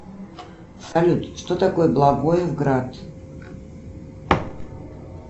салют что такое благое град